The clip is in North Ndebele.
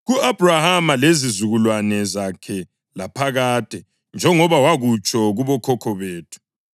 ku-Abhrahama lezizukulwane zakhe laphakade, njengoba wakutsho kubokhokho bethu.”